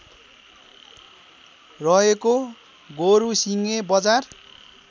रहेको गोरुसिङे बजार